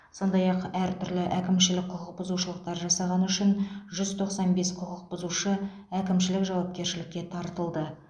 сондай ақ әртүрлі әкімшілік құқық бұзушылықтар жасағаны үшін жүз тоқсан бес құқықбұзушы әкімшілік жауапкершілікке тартылды